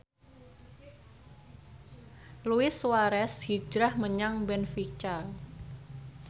Luis Suarez hijrah menyang benfica